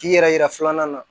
K'i yɛrɛ yira filanan na